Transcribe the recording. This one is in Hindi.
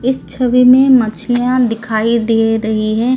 इस छवि में मछलियां दिखाई दे रही हैं--